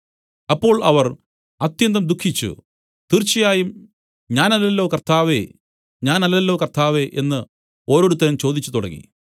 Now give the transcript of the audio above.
അപ്പോൾ അവർ അത്യന്തം ദുഃഖിച്ചു തീർച്ചയായും ഞാനല്ലല്ലോ കർത്താവേ ഞാനല്ലല്ലോ കർത്താവേ എന്നു ഓരോരുത്തൻ ചോദിച്ചു തുടങ്ങി